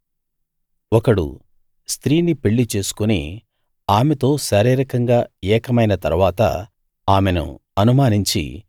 ఒకడు స్త్రీని పెళ్లి చేసుకుని ఆమెతో శారీరకంగా ఏకమైన తరువాత ఆమెను అనుమానించి